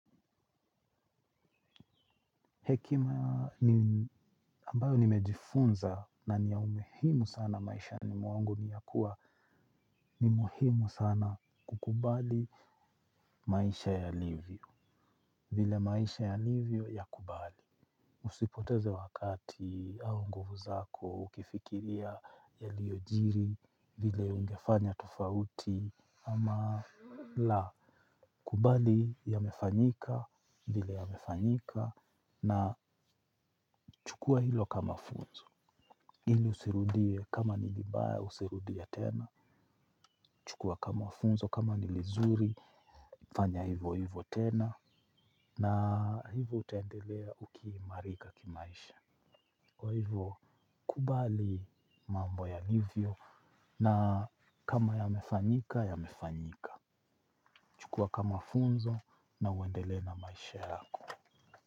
Hekima ambayo nimejifunza na ni ya umuhimu sana maishani mwangu ni ya kuwa ni muhimu sana kukubali maisha yalivyo. Vile maisha yalivio yakubali. Usipoteze wakati au nguvu zako ukifikiria yaliyojiri, vile ungefanya tufauti ama la. Kubali yamefanyika vile yamefanyika na chukua hilo kama funzo. Ili usirudie kama ni libaya usirudie tena. Chukua kama funzo kama nilizuri. Fanya hivo hivo tena. Na hivo utaendelea ukiimarika kimaisha. Kwa hivyo kubali mambo yaliivyo. Na kama yamefanyika yamefanyika. Chukua kama funzo na uendelee na maisha yako.